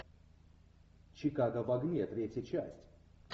чикаго в огне третья часть